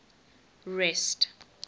rest